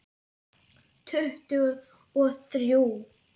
Tuttugu og þrjú!